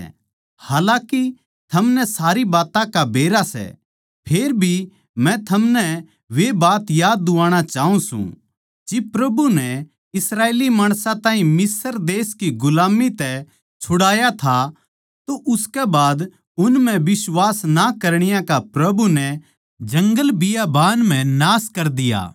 हालाकि थमनै सारी बात्तां का बेरा सै फेर भी मै थमनै वे बात याद दुवाणा चाऊँ सूं जिब प्रभु नै इस्राएली माणसां ताहीं मिस्र देश की गुलाम्मी तै छुड़ाया था उसकै बाद उन म्ह बिश्वास ना करणीया का प्रभु नै जंगलबियाबान म्ह नाश कर दिया